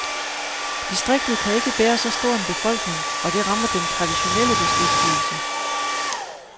Distriktet kan ikke bære så stor en befolkning, og det rammer den traditionelle beskæftigelse.